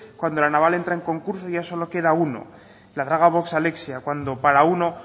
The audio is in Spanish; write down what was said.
cuando la naval entra en concurso ya solo queda uno la draga vox alexia cuando para uno